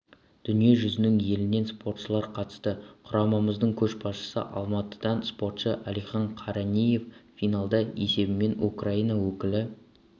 дүние жүзінің елінен спортшылар қатысты құрамамыздың көшбасшысы алматыдан спортшы әлихан қаранеев финалда есебімен украина өкілі